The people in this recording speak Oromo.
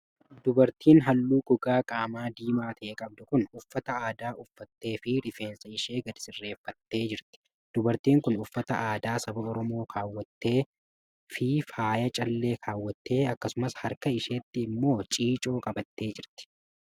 Dubartiin haalluu gogaa qaamaa diimaa ta'e qabdu kun uffata aadaa uffattee fi rifeensa ishee gadi sirreeffattee jirti. Dubartiin kun uffata aadaa saba Oromoo kaawwattee fi faaya callee kaawwattee akkasumas harka isheetti immoo ciicoo qabattee jirti.